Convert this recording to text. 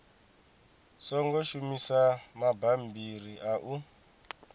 songo shumisa mabammbiri a u